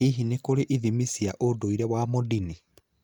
Hihi nĩ kũrĩ ithimi wa ndũire wa Mondini?